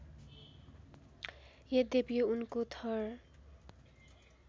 यद्यपि उनको थर